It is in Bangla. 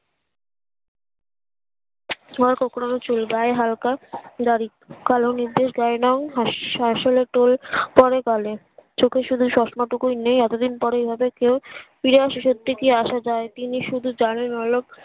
যার কোকড়ানো চুল গায়ে হালকা দাড়ি কালো নিদেশ গায়ের রং এর শাশ্বলা টোল পরে গালে চোখে শুধু চশমা টুকু নেই এতদিন পরে ঐভাবে কেউ পীড়ার শেষ এর দিকে আসা যাই তিনি শুধু জানে বড়োলোক